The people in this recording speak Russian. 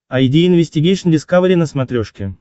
айди инвестигейшн дискавери на смотрешке